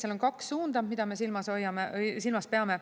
Seal on kaks suunda, mida me silmas peame.